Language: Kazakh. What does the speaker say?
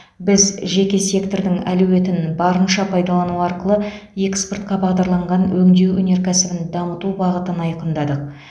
біз жеке сектордың әлеуетін барынша пайдалану арқылы экспортқа бағдарланған өңдеу өнеркәсібін дамыту бағытын айқындадық